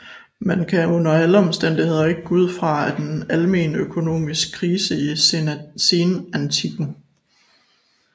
Man kan under alle omstændigheder ikke gå ud fra en almen økonomisk krise i senantikken